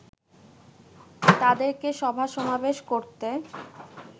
তাদেরকে সভা সমাবেশ করতে